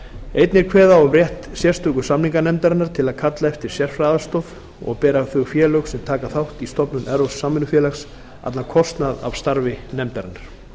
einnig er kveðið á um rétt sérstöku samninganefndarinnar til að kalla eftir sérfræðiaðstoð og bera þau félög sem taka þátt í stofnun evrópsks samvinnufélags allan kostnað af starfi nefndarinnar